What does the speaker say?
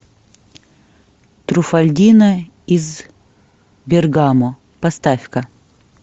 труффальдино из бергамо поставь ка